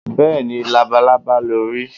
béèni, labalábá lo ri